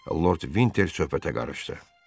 Lord Vinter söhbətə qarışdı.